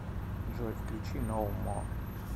джой включи ноу мо